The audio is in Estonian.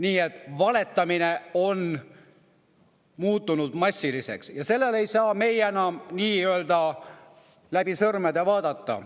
Nii et valetamine on muutunud massiliseks ja me ei saa sellele enam läbi sõrmede vaadata.